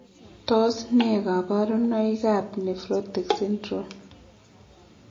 Tos nee kabarunaik ab Nephrotic syndrome ?